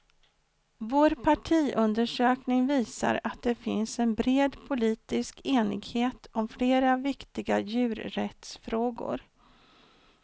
Vår partiundersökning visar att det finns en bred politisk enighet om flera viktiga djurrättsfrågor.